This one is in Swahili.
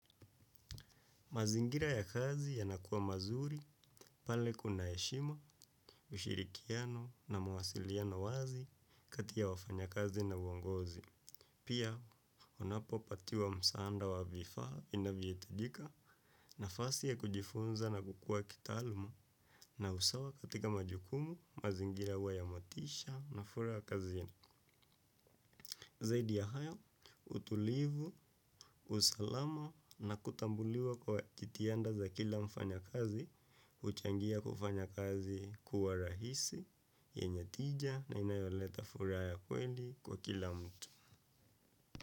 Mazingira ya kazi yanakuwa mazuri, pale kuna heshima, ushirikiano na mawasiliano wazi kati ya wafanyakazi na uongozi. Pia, wanapopatiwa msaada wa vifaa inavyohitajika nafasi ya kujifunza na kukua kitaalumu na usawa katika majukumu, mazingira huwa ya motisha na furaha kazini. Zaidi ya hayo, utulivu, usalama na kutambuliwa kwa jitihada za kila mfanyakazi, huchangia kufanya kazi kuwa rahisi, yenye tija na inayoleta furaha ya kweli kwa kila mtu.